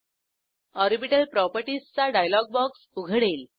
orbital properties चा dialogue box उघडेल